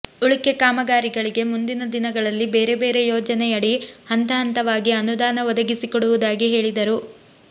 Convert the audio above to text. ಉಳಿಕೆ ಕಾಮಗಾರಿಗಳಿಗೆ ಮುಂದಿನ ದಿನಗಳಲ್ಲಿ ಬೇರೆ ಬೇರೆ ಯೋಜನೆಯಡಿ ಹಂತ ಹಂತವಾಗಿ ಅನುದಾನ ಒದಗಿಸಿಕೊಡುವುದಾಗಿ ಹೇಳಿದರು